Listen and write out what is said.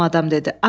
naməlum adam dedi.